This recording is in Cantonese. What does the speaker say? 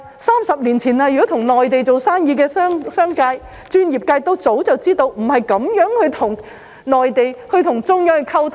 三十年前跟內地有生意往來的商界或專業人士早就知道，不能這樣跟中央溝通。